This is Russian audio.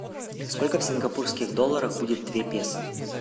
сколько в сингапурских долларах будет две песо